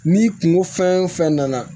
Ni kungo fɛn o fɛn nana